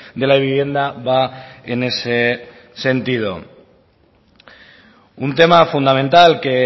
de la vivienda va en ese sentido un tema fundamental que